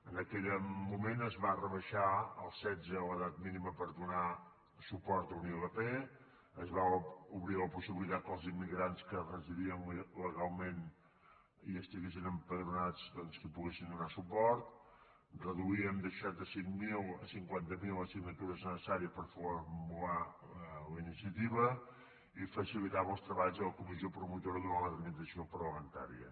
en aquell moment es va rebaixar als setze l’edat mínima per donar suport a una ilp es va obrir la possibilitat que els immigrants que residien legalment i estiguessin empadronats doncs que hi poguessin donar suport reduíem de seixanta cinc mil a cinquanta miler les signatures necessàries per formular la iniciativa i facilitava els treballs de la comissió promotora durant la tramitació parlamentària